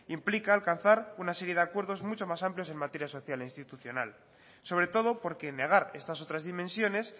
implica alcanzar una serie de acuerdos mucho más amplios en materias social e institucional sobre todo porque negar estas otras dimensiones